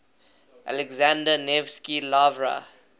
alexander nevsky lavra